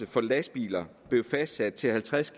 for lastbiler blev fastsat til halvtreds